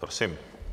Prosím.